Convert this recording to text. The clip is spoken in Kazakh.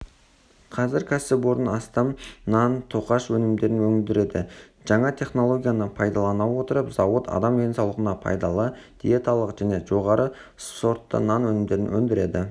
қазір кәсіпорын астам нан-тоқаш өнімдерін өндіреді жаңа технологияны пайдалана отырып зауыт адам денсаулығына пайдалы диеталық және жоғары сортты нан өнімдерін өндіреді